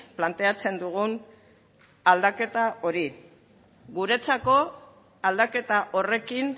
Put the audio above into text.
planteatzen dugun aldaketa hori guretzako aldaketa horrekin